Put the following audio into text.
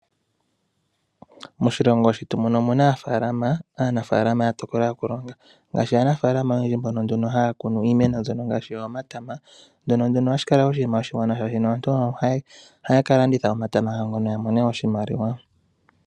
Moshilongo shetu muno omuna aanafaalama yatokola okulonga ngaashi aanafaalama oyendji mbono nduno haakunu iimeno mbyono ngaashi omatama, ndyono ohashi kala oshinima oshiwanawa shaashino aantu ohaya kalanditha omatama gawo ngono yamone oshimaliwa.